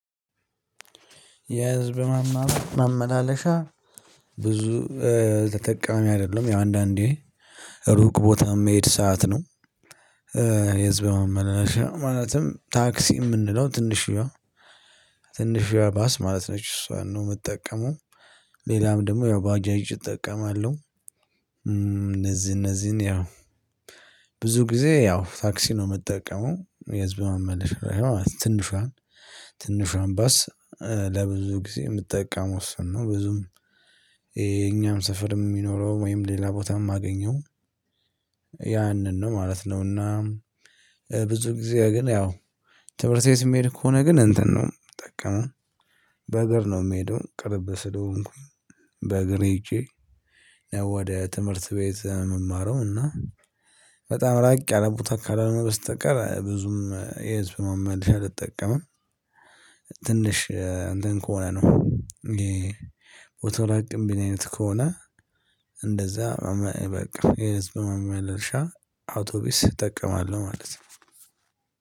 የህዝብ ማመላለሻ ብዙ ተጠቃሚ አይደለም ያው አንዳንዴ ሩቅ ቦታ የሚሄድ ሰዓት ነው። የህዝብ ማመለሻ ማለትም ታክሲ የምንለው ትንሽዬዋ ትንሽዬዋ ባስ ማለት ነች እሷን ነው የምጠቀመው ሌላም ደግሞ ያው ባጃጅ እጠቀማለሁ። እነዚህ እነዚህን ያው ብዙ ጊዜ ያው ታክሲ ነው የምጠቀመው የህዝብ ማመላለሻ ትንሿን ትንሿን ባስ ለብዙ ጊዜ የምትጠቀመው እሱን ነው ብዙም የኛም ስፈርም የሚኖረው ወይም ሌላ ቦታም አገኘው ያንን ነው ማለት ነውና ብዙ ጊዜ ግን ያው ትምህርትቤት ምሄድ ከሆነ ግን እንትን ነው የምጠቀመው በእግር ነው የምሄደው ቅርብ ስለሆንኩ በእግር ወደ ትምህርት ቤት ምማረው እና በጣም ራቅ ያለቦታ ካልሆነ በስተቀር ብዙም የህዝብ ማመላለሻ አልጠቀምም። ትንሽ እንትን ከሆነ ነው። ቦታው ራቅ ሚል አይነት ከሆነ እንደዛ በቃ የህዝብ መመልሻ አውቶቢስ እጠቀማለሁ ማለት ነው።